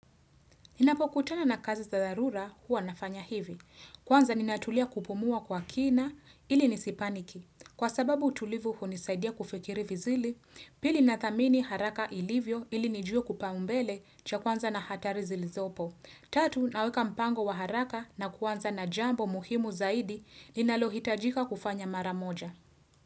Ninapokutana na kazi za dharura huwa nafanya hivi. Kwanza ninatulia kupumua kwa kina ili nisipaniki. Kwa sababu tulivu huo nisaidia kufikiri vizili, pili na thamini haraka ilivyo ili nijuo kipaumbele cha kwanza na hatari zilizopo. Tatu naweka mpango wa haraka na kwanza na jambo muhimu zaidi ninalo hitajika kufanya maramoja.